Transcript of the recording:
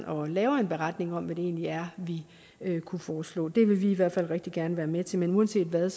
og laver en beretning om hvad det egentlig er vi kunne foreslå det vil vi i hvert fald rigtig gerne være med til men uanset hvad